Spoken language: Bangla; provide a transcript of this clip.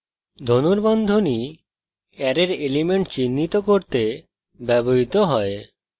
ধনুর্বন্ধনী অ্যারের elements চিহ্নিত করতে ব্যবহৃত হয়